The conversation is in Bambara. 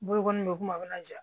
Bolokoli in bɛ kuma a bɛ na ja